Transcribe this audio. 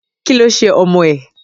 Kí ló ṣe ọmọ ẹ̀?